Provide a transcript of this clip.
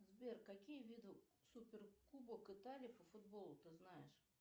сбер какие виды супер кубок италии по футболу ты знаешь